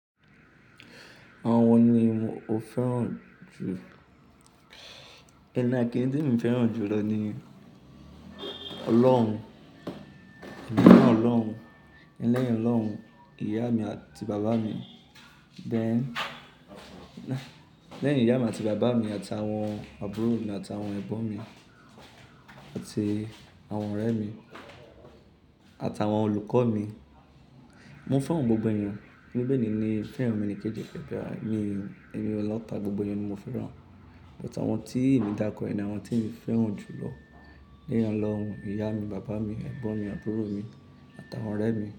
Àwọn wo ni mo fẹ́ràn jù? Ẹni na kíni tí mo fẹ́ràn jù lọ ni Ọlọ́run, lẹ́yìn Ọlọ́run, ìyá mi àti bàbá mi, bẹ́ẹ̀ ni, lẹ́yìn ìyá mi àti bàbá mi àti àwọn àbúrò mi àti àwọn ẹ̀gbọ́n mi àti àwọn ọ̀rẹ́ mi àti àwọn olùkọ́ mi. Mo fẹ́ràn gbogbo ẹniyan, bibeli ni fẹ́ràn omo ení kejì pẹ̀lú, mi ò ní lòta, gbogbo ẹni ni mo fẹ́ràn. Bút àwọn tí emi dárukọ yẹn ni àwọn tí mo fẹ́ràn jù lọ, leyin Ọlọ́run, ìyá mi, bàbá mi, ẹ̀gbọ́n mi, àbúrò mi àti àwọn ọ̀rẹ́ mi.